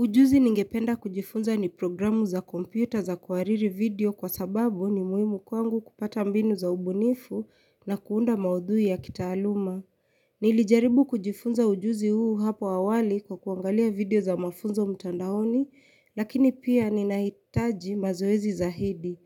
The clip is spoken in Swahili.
Ujuzi ningependa kujifunza ni programu za kompyuta za kuhariri video kwa sababu ni muhimu kwangu kupata mbinu za ubunifu na kuunda maudhui ya kitaaluma. Nilijaribu kujifunza ujuzi huu hapo awali kwa kuangalia video za mafunzo mtandaoni, lakini pia ninahitaji mazoezi zaidi.